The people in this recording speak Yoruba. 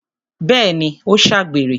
Bẹ́ẹ̀ni, ó ṣàgbèrè